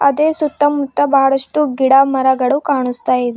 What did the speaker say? ಅದೇ ಸುತ್ತಮುತ್ತ ಬಹಳಷ್ಟು ಗಿಡ ಮರಗಳು ಕಾನಸ್ತಾ ಇದೆ.